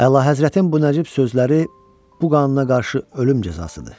Əlahəzrətin bu nəcib sözləri bu qanuna qarşı ölüm cəzasıdır.